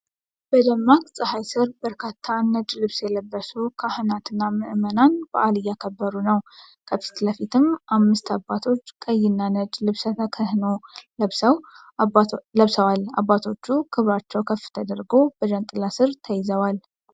በደማቅ ፀሐይ ስር በርካታ ነጭ ልብስ የለበሱ ካህናትና ምዕመናን በዓል እያከበሩ ነው። ከፊት ለፊት አምስት አባቶች ቀይ እና ነጭ ልብሰ ተክህኖ ለብሰዋል። አባቶቹ ክብራቸው ከፍ ተደርጎ በዣንጥላ ስር ተይዘዋል።